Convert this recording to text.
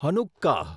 Hanukkah